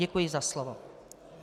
Děkuji za slovo.